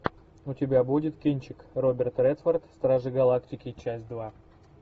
у тебя будет кинчик роберт редфорд стражи галактики часть два